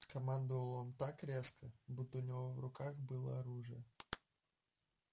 командовал он так резко будто у него в руках было оружие